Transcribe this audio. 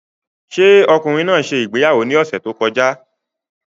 Ṣé ọkùnrin náà ṣe ìgbéyàwó ní ọ̀sẹ̀ tó kọjá?